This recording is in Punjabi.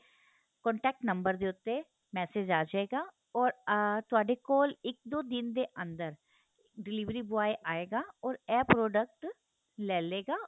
contact ਨੰਬਰ ਦੇ ਉਤੇ massage ਆ ਜੇਗਾ ਔਰ ਤੁਹਾਡੇ ਕੋਲ ਇੱਕ ਦੋ ਦਿਨ ਦੇ ਅੰਦਰ delivery boy ਆਏਗਾ ਔਰ ਏਹ product ਲੈਲੇਗਾ